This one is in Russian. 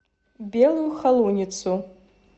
белую холуницу